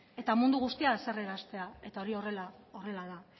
eta mundu guztia haserraraztea eta hori horrela da